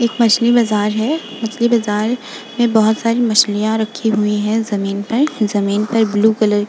एक मछली बाजार है। मछली बाजार में बहोत सारी मछलियाँ रखी हुई हैं जमीन पर। जमीन पर ब्लू कलर --